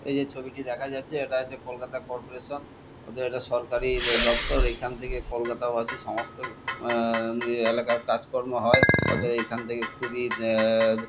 এই যে ছবিটি দেখা যাচ্ছে এটা হচ্ছে কলকাতা কর্পোরেশন ওদের এটা সরকারি দ দপ্তর। এইখান থেকে কলকাতাবাসী সমস্ত আ-আ এলাকার কাজকর্ম হয়। অতএব এইখান থেকে খুবই আ--